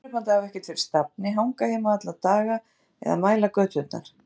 Það var niðurdrepandi að hafa ekkert fyrir stafni, hanga heima alla daga eða mæla göturnar.